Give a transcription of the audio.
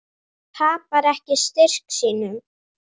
Tapar ekki styrk sínum.